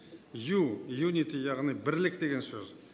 ю юнити яғни бірлік деген сөз